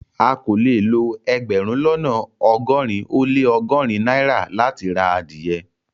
À kò lè lọ ẹgbérùn lọ́nà ogórin o le ọgọ́rin naira láti rá adìẹ